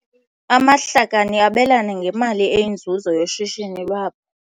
Amahlakani abelana ngemali eyinzuzo yoshishino lwabo.